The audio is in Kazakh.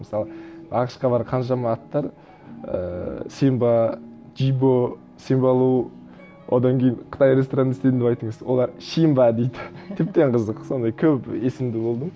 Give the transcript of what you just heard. мысалы ақш қа барып қаншама аттар ііі симба джибо симба лу одан кейін қытай ресторанында істедім деп айтқан кезде олар щимба дейді тіптен қызық сондай көпесімді болдым